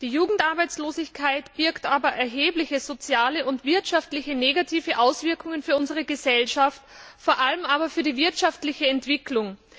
Die Jugendarbeitslosigkeit birgt aber auch erhebliche soziale und wirtschaftliche negative Auswirkungen für unsere Gesellschaft, vor allem aber für die wirtschaftliche Entwicklung.